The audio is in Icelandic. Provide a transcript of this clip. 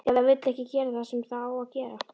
Eða vill ekki gera það sem það á að gera.